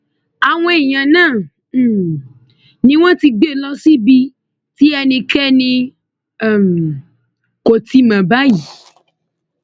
àwọn èèyàn náà um ni wọn ti gbé lọ sí ibi tí ẹnikẹni um kò tí ì mọ báyìí